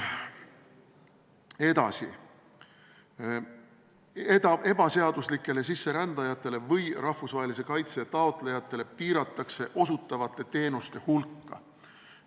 Edasi, ebaseaduslikele sisserändajatele ja rahvusvahelise kaitse taotlejatele osutatavate teenuste hulka piiratakse.